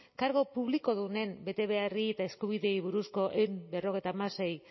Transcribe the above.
kargu publikodunen betebehar eta eskubideei buruzko ehun eta berrogeita hamasei